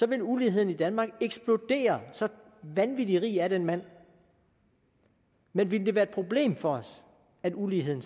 ville uligheden i danmark eksplodere så vanvittig rig er den mand men ville det være et problem for os at uligheden